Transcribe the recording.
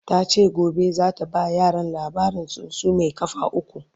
tace gobe zata ba yaran labarin tsuntsu Mai kafa ukwu